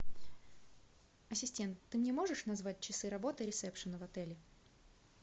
ассистент ты мне можешь назвать часы работы ресепшена в отеле